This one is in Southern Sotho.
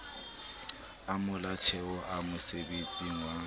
a molaotheo a mosebesetsi wa